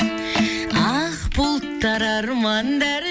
ақ бұлттар армандар